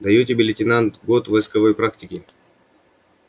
даю тебе лейтенант год войсковой практики